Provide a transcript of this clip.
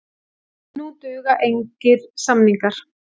Nú duga engir samningar.